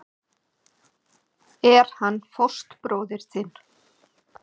Er hann fóstbróðir þinn?